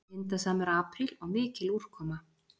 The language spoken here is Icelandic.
Vindasamur apríl og mikil úrkoma